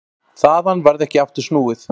Þaðan varð ekki aftur snúið.